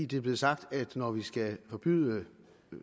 det er blevet sagt at når vi skal forbyde